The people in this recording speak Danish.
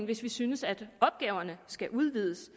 hvis vi synes at opgaverne skal udvides